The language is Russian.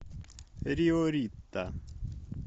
рио рита